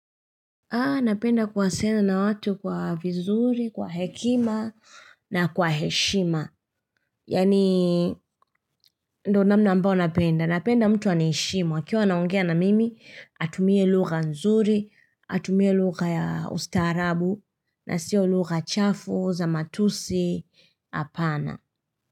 Ah, napenda kuwasiliana na watu kwa vizuri, kwa hekima na kwa heshima. Yani, ndo namna ambao napenda. Napenda mtu aniheshimu ukiwa anaongea na mimi, atumie lugha nzuri, atumie lugha ya ustarabu, na siyo lugha chafu, za matusi, apana.